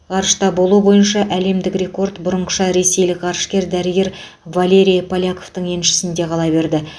ғарышта болу бойынша әлемдік рекорд бұрынғыша ресейлік ғарышкер дәрігер валерий поляковтың еншісінде қала береді